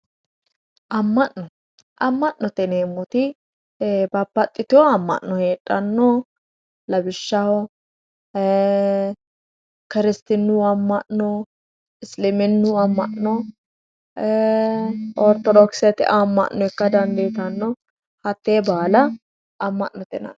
Ama'no, ama'note yineemmoti babbaxitino ama'no heedhano lawishshaho kirsitinu ama'no, isliminu ama'no no, orthodokisete ama'no ikka dandiittanno hate baalla ama'note yinnanni.